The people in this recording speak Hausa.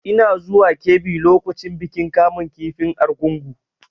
Ina zuwa Kebbi lokacin bikin kamun kifin argungu.